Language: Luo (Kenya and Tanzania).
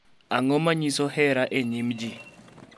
Ang�o ma nyiso hera e nyim ji?